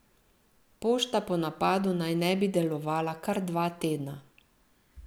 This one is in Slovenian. Pošta po napadu naj ne bi delovala kar dva tedna.